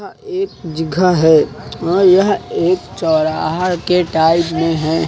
एक जगह है और यह एक चौराहा के टाइप में हैं।